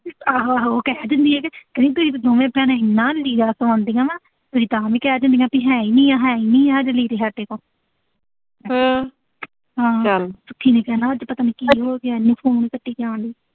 ਆਹੋ-ਆਹੋ ਉਹ ਕਹਿ ਦਿੰਦੀ ਆ ਕਿ ਕਹਿੰਦੀ ਤੁਸੀਂ ਤਾਂ ਦੋਨੇ ਭੈਣਾਂ ਐਨਾ ਲੀੜਾ ਪਾਉਂਦੀਆਂ ਨਾ, ਤੁਸੀਂ ਤਾਂ ਆਮ ਈ ਕਹਿ ਦਿਨੀਓਂ ਵੀ ਹੈ ਨੀਂ, ਹੈ ਨੀਂ ਲੀੜੇ ਸਾਡੇ ਕੋਲ। ਸੁੱਖੀ ਨੇ ਕਹਿਣਾ ਅੱਜ ਪਤਾ ਨੀਂ ਕੀ ਹੋ ਗਿਆ ਐਨੇ ਫੋਨ ਕੱਟੀ ਜਾਣ ਡਈ।